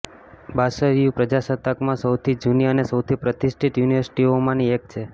બાસશ્યુ પ્રજાસત્તાકમાં સૌથી જૂની અને સૌથી પ્રતિષ્ઠિત યુનિવર્સિટીઓમાંની એક છે